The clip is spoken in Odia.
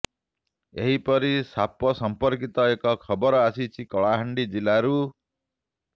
ଏହିପରି ସାପ ସଂପର୍କିତ ଏକ ଖବର ଆସିଛି କଳାହାଣ୍ଡି ଜିଲ୍ଲାରୁ